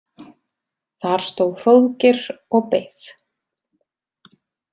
Þar stóð Hróðgeir og beið.